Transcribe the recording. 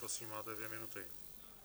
Prosím, máte dvě minuty.